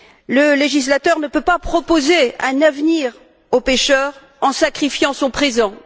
Le législateur ne peut pas proposer un avenir au pêcheur en sacrifiant son présent.